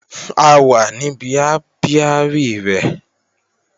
A wà níbi ápíárì rẹ̀